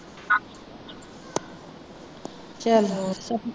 ਚੱਲ ਹੋਰ।